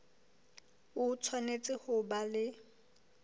o tshwanetse ho ba le